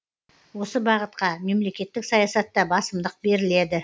осы бағытқа мемлекеттік саясатта басымдық беріледі